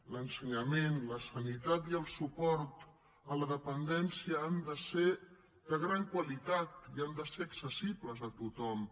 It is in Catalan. l’ensenyament la sanitat i el suport a la dependència han de ser de gran qualitat i han de ser accessibles a tothom